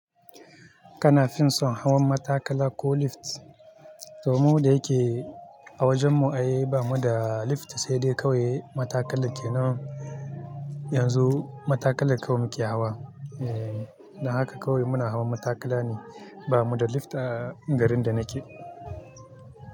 Kana finso hawan matakala ko lift? To mu da yike a wajen mu ai bamu da lift sai dai kawai matakala kenan. Yanzu matakala kawai muke hawa. Eh, don haka kawai muna hawan matakala ne, ba mu da lifta garin da nake.